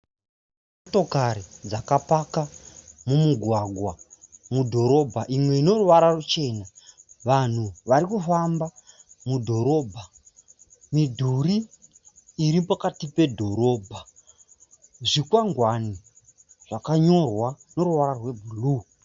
Motokari dzakapaka mumugwagwa mudhorobha. Imwe ine ruvara ruchena. Vanhu vari kufamba mudhorobha. Midhuri iri pakati pedhorobha. Zvikwangwani zvakanyorwa neruvara rwebhuru.